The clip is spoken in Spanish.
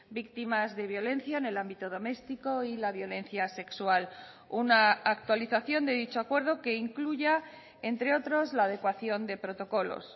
víctimas de violencia en el ámbito doméstico y la violencia sexual una actualización de dicho acuerdo que incluya entre otros la adecuación de protocolos